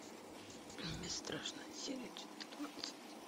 бесстрашная серия четырнадцать